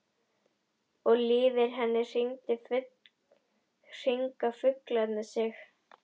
Og yfir henni hringa fuglarnir sig.